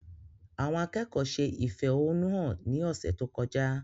Àwọn akẹ́kọ̀ọ́ ṣe ìfẹ̀hónúhàn ní ọ̀sẹ̀ tó kọjá